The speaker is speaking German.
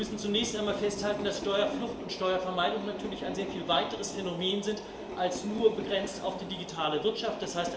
Aber wir müssen zunächst einmal festhalten, dass Steuerflucht und Steuervermeidung natürlich ein sehr viel weiteres Phänomen sind als nur begrenzt auf die digitale Wirtschaft.